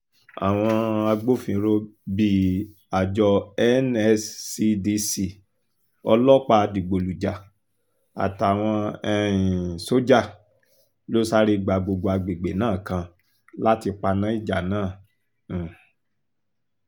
àwọn agbófinró bíi àjọ nscdc ọlọ́pàá dìgbòlùjà àtàwọn um sójà ló sáré gba gbogbo àgbègbè náà kan láti paná ìjà náà um